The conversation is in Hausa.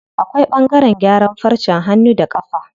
Akwai ɓangaren gyaran farcen hannu da ƙafa.